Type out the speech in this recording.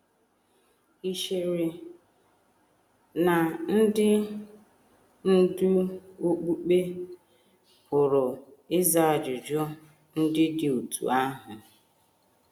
Ì chere na ndị ndú okpukpe pụrụ ịza ajụjụ ndị dị otú ahụ?